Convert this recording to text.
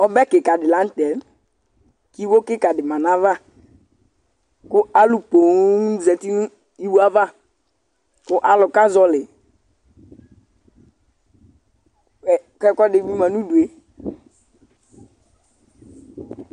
Ɔbɛ kɩka dɩ la nʋ tɛ kʋ iwo kɩka dɩ ma nʋ ayava kʋ alʋ poo zati nʋ iwo yɛ ava kʋ alʋ azɔɣɔlɩ ɛ kʋ ɛkʋɛdɩ ma nʋ udu yɛ